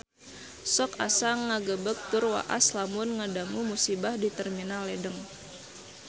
Sok asa ngagebeg tur waas lamun ngadangu musibah di Terminal Ledeng